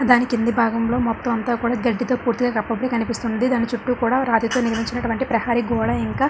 దాని కింద భాగం లో మొత్తం అంత కూడా గడ్డి తో పూర్తిగా కప్పబడి కనిపిస్తూ ఉంది. దాని చుట్టూ కూడా రాతి తో ప్రేమించినటువంటి ప్రహరీ గోడ ఇంకా--